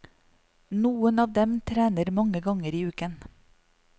Noen av dem trener mange ganger i uken.